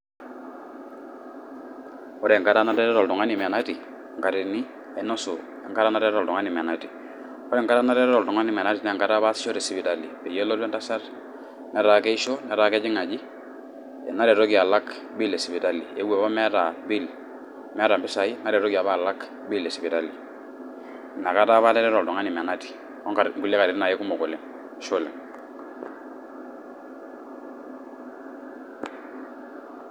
Ore enkata netareto oltungani menati ainasu enkolong nateroto oltungani menati ore enkolong' netareto oltung'ani menati na enkolong' apa nataasiahe tesipitali pelotu entasat netaa keisho eeuo apa meeta bill esipitali mewta mpisai neretoki alak bill esipitali nakara apa atareto oltung'ani menati onkulie katitin apa kumok oleng, ashe oleng'.